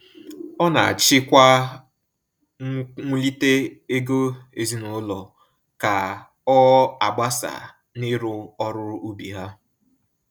Ọ na achị kwa nwulite ego ezinaụlọ ka ọ agbasa na iru ọrụ ubi ha.